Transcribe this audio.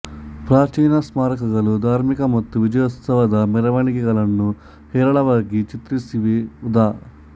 ಪ್ರಾಚೀನ ಸ್ಮಾರಕಗಳು ಧಾರ್ಮಿಕ ಮತ್ತು ವಿಜಯೋತ್ಸವದ ಮೆರವಣಿಗೆಗಳನ್ನು ಹೇರಳವಾಗಿ ಚಿತ್ರಿಸಿವೆ ಉದಾ